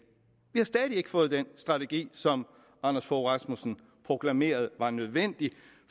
vi har stadig væk ikke fået den strategi som anders fogh rasmussen proklamerede var nødvendig